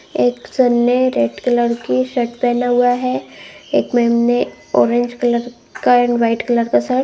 एक सर ने red colour की शर्ट पहना हुआ है एक मैम ने ऑरेंज कलर का एंड व्हाइट कलर का शर्ट --